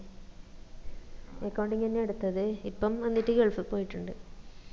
accounding അന്നെ എടുത്തത് ഇപ്പം എന്നിട്ട് ഗൾഫിൽ പോയിട്ടിണ്ട്